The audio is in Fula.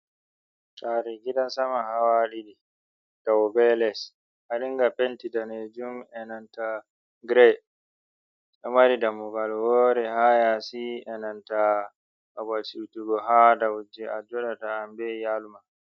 Sare gidan sama hawa ɗiɗi dow be les, wadiga penti danejum enanta gire, ɗo mari dammugal wore hayasi enanta babal siwtugo hadow je a joɗugo be iyaluma ha yasi.